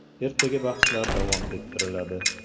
Ertaga bahslar davom ettiriladi.